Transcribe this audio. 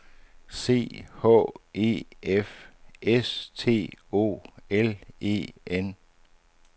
C H E F S T O L E N